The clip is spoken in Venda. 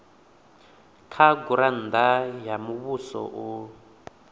kha gurannda ya muvhuso u